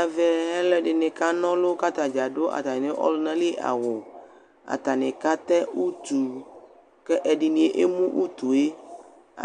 Ɛvɛ alʋɛdɩnɩ ka na ɔlʋ , k'atadza adʋ atamɩ ɔlʋnali awʋ Atanɩ ka tɛ utu , k'ɛ ɛdɩnɩ emu utue ;